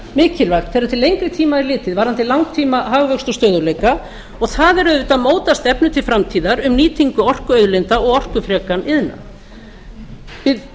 mikilvægt þegar til lengri tíma litið varðandi langtíma hagvöxt og stöðugleika það er auðvitað að móta stefnu til framtíðar um nýtingu orkuauðlinda og orkufrekan